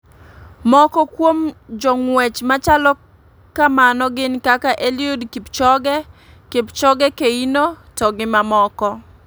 Moko kuom jong'uech machalo kamano gin kaka Elliud Kipochoge ,Kipchoge Keino to gi mamoko.